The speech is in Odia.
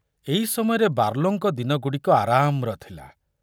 ଏଇ ସମୟରେ ବାର୍ଲୋଙ୍କ ଦିନଗୁଡ଼ିକ ଆରାମର ଥିଲା।